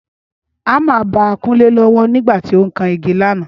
Ámà ba Kúnlé lọ́wọ́ nígbà tó ń kan igi lánàá